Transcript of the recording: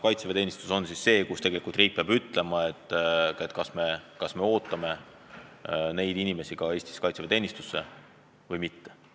Kaitseväeteenistuse puhul peab riik ütlema, kas me ootame neid inimesi Eestis kaitseväeteenistusse või mitte.